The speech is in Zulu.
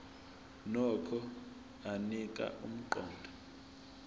nokho anika umqondo